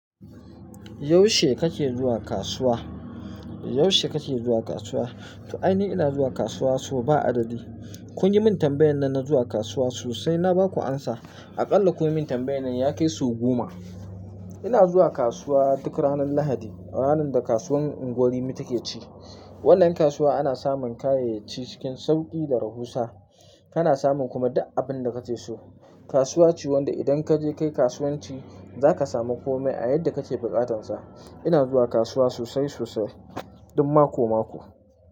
Yaushe kake zuwa kasuwa? Yaushe kake zuwa kasuwa? To ai ni ina zuwa kasuwa sau ba adadi. Kun yi min tambayan nan na zuwa kasuwa sosai na ba ku amsa. Aƙalla kun yi min tambayan nan ya kai sau goma. Ina zuwa kasuwa duk ranar Lahadi, ranar da kasuwar Ungwan Rimi take ci. Wannan kasuwa ana samun kayayyaki cikin sauƙi da rahusa. Kana samun kuma duk abin da kake so. Kasuwa ce wanda idan ka je kai kasuwanci za ka samu kome a yadda kake buƙatansa. Ina zuwa kasuwa sosai sosai, duk mako-mako.